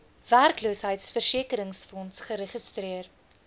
werkloosheidversekeringsfonds geregistreer